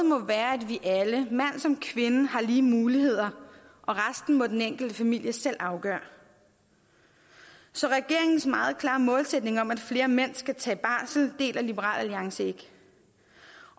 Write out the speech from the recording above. må være at vi alle mænd som kvinder har lige muligheder og resten må den enkelte familie selv afgøre så regeringens meget klare målsætning om at flere mænd skal tage barsel deler liberal alliance ikke